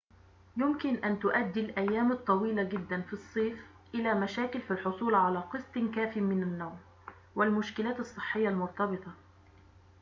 يمكن أن تؤدي الأيام الطويلة جدًا في الصيف إلى مشاكل في الحصول على قسط كافٍ من النوم والمشكلات الصحية المرتبطة